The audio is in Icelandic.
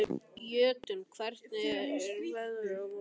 Jötunn, hvernig er veðrið á morgun?